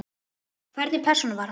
Hvernig persóna var hann?